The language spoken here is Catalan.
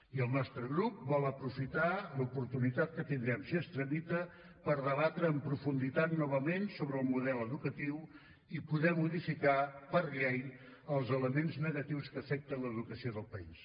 i el nostre grup vol aprofitar l’oportunitat que tindrem si es tramita per debatre en profunditat novament sobre el model educatiu i poder modificar per llei els elements negatius que afecten l’educació del país